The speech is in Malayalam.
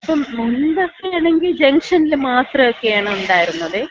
ഇപ്പൊ മുമ്പൊക്കെ ആണെങ്കി ജംഗ്ഷനില് മാത്രോക്കെയാണ് ഉണ്ടായിരുന്നതേ.